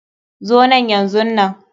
Zo nan yanzunan.